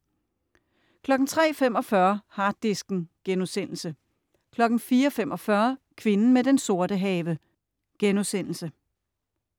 03.45 Harddisken* 04.45 Kvinden med den sorte have*